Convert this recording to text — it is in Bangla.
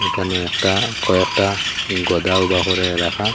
এখানেও একটা কয়েকটা এলাকা।